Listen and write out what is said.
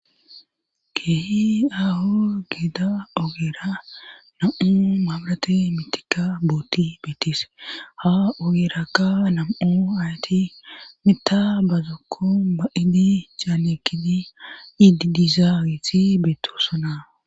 keehi ahu gitta ogeera nam7u maabrate mitika booti bettis ha ogeeraka nam7u ayti mita bazokko ba idi caanekidi iidizaawiti beettossunaa